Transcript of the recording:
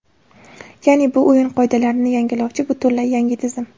Ya’ni, bu o‘yin qoidalarini yangilovchi, butunlay yangi tizim.